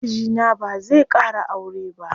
Mijina bazai ƙara aure ba.